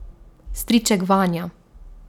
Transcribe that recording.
Striček Vanja.